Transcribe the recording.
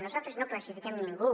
nosaltres no classifiquem ningú